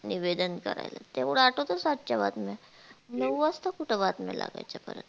निवेदन करायला तेवढ आठवत सातशे बातम्या नाऊ वाजता कुठ बातम्या लागाच्या परत